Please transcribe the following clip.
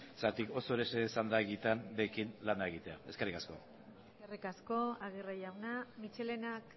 oso erreza izan baita benetan beraiekin lana egitea eskerrik asko eskerrik asko aguirre jauna michelenak